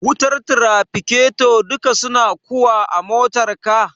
wutar tirafiketo duka suna kuwa a motar ka?